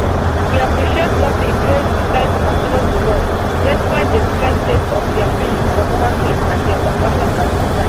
we appreciate nurses wey decide to continue to work despite di strike sake of dia feeling for human being and dia compassion at dis time